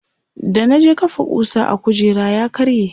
da na je kafa kusa a kujera ya karye